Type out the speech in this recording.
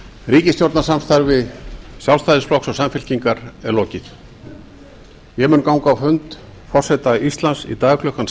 ríkisstjórnarsamstarfi sjálfstæðisflokks og samfylkingar er lokið ég mun ganga á fund forseta íslands í dag klukkan